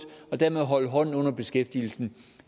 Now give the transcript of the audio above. og dermed holde hånden under beskæftigelsen